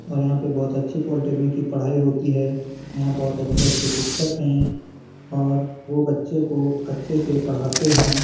और यहां पर बहुत अच्छी पोल्टेकनिक की पढ़ाई होती हैं यहां बहुत अच्छे-अच्छे शिक्षक है और वो बच्चे को अच्छे से पढ़ाते हैं।